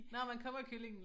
Nårh man kommer kyllingen